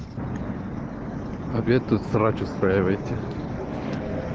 обед тут срач устраивайте